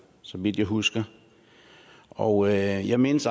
så vidt jeg husker og jeg mindes